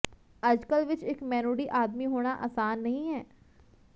ਅੱਜਕਲ ਵਿੱਚ ਇੱਕ ਮੈਨੁਡੀ ਆਦਮੀ ਹੋਣਾ ਆਸਾਨ ਨਹੀਂ ਹੈ